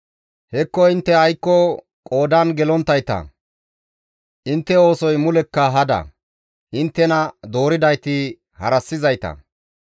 Hekko intte aykko qoodan gelonttayta; intte oosoy mulekka hada; inttena dooridayti harassizayta.